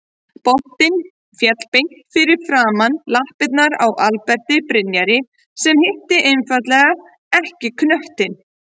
Boltinn féll beint fyrir framan lappirnar á Alberti Brynjari sem hitti einfaldlega ekki knöttinn.